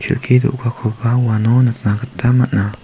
kelki do·gakoba uano nikna gita man·a.